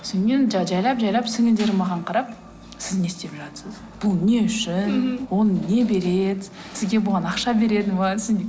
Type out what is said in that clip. содан кейін жайлап жайлап сіңлілерім маған қарап сіз не істеп жатырсыз бұл не үшін ол не береді сізге бұған ақша береді ме